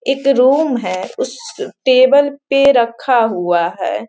एक रूम है उस टेबल पे रखा हुआ है।